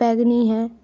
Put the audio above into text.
बैंगनी है ।